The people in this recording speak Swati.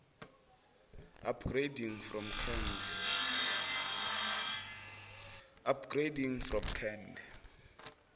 upgrading from cand